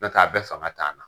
N'o tɛ a bɛɛ fanga t'an na